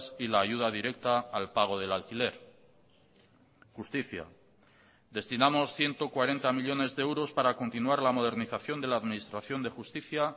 y la ayuda directa al pago del alquiler justicia destinamos ciento cuarenta millónes de euros para continuar la modernización de la administración de justicia